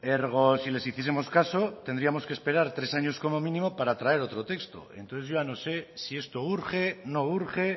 ergo si les hiciesemos caso tendríamos que esperar tres años como mínimo para traer otro texto entonces yo no sé si esto urge no urge